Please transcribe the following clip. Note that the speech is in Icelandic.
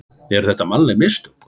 Eru þetta mannleg mistök?